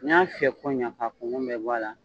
N'i y'a fiyɛko ɲa k'a kunkun bɛɛ bɔ a la.